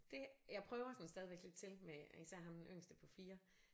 Det jeg prøver sådan stadigvæk lidt til med især ham den yngste på 4